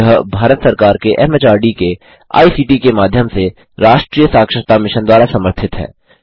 यह भारत सरकार के एमएचआरडी के आईसीटी के माध्यम से राष्ट्रीय साक्षरता मिशन द्वारा समर्थित है